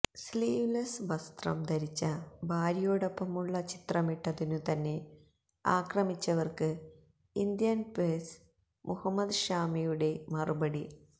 sleeveless വസ്ത്രം ധരിച്ച ഭാര്യയോടൊപ്പമുള്ള ചിത്രമിട്ടതിനു തന്നെ ആക്രമിച്ചവര്ക്ക് ഇന്ത്യന് പേസര് മുഹമ്മദ് ഷാമിയുടെ മറുപടി